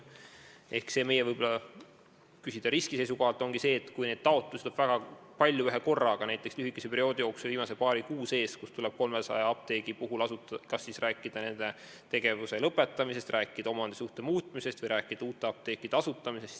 Riski seisukohalt ongi võib-olla keeruline see, kui neid taotlusi tuleb ühekorraga väga palju, näiteks lühikese perioodi jooksul viimase paari kuu sees 300 apteegi kohta, kelle puhul on vaja tegelda kas nende tegevuse lõpetamise, omandisuhte muutmise või uue apteegi asutamisega.